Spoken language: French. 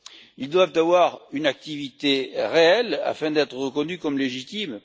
Ils doivent avoir une activité réelle afin d'être reconnus comme légitimes.